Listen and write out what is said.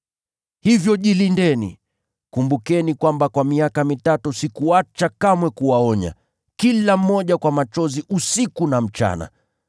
Hivyo jilindeni! Kumbukeni kwamba kwa miaka mitatu sikuacha kamwe kuwaonya kila mmoja kwa machozi usiku na mchana.